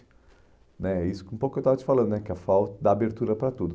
né Isso que um pouco eu estava te falando né, que a FAU dá abertura para tudo.